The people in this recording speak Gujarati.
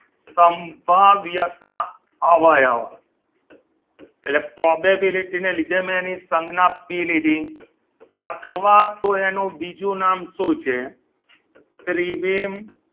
સંભાવ્યતા અવયવ એટલે probability ના લીધે મેં એની સંજ્ઞા મેં પી લીધી અથવા તો એનું બીજું નામ શું છે ત્રિવેમ